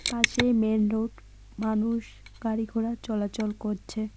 পাশেই main road মানুষ গাড়ি ঘোড়া চলাচল করছে।